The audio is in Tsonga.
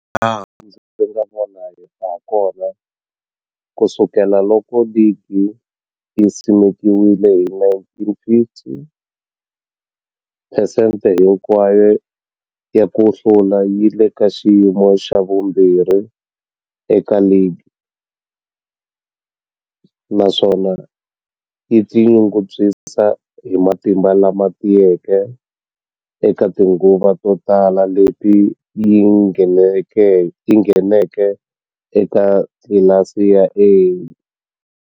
Hilaha ndzi nga vona hakona, ku sukela loko ligi yi simekiwile hi1950, phesente hinkwayo ya ku hlula yi le ka xiyimo xa vumbirhi eka ligi, naswona yi tinyungubyisa hi matimba lama tiyeke eka tinguva to tala leti yi ngheneke eka tlilasi ya A.